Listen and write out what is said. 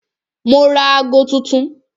Mo ra ago tuntun